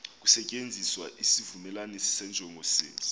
kusetyenziswa isivumelanisi senjongosenzi